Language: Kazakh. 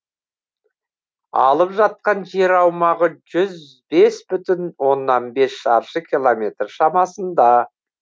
алып жатқан жер аумағы жүз бес бүтін оннан бес шаршы километр шамасында